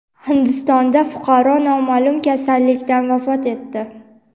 Hindistonda fuqaro noma’lum kasallikdan vafot etdi.